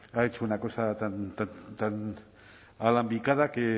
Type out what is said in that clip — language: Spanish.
ha hecho una cosa tan alambicada que